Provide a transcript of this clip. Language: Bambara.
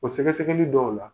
O sɛgɛsɛgɛli dɔw la.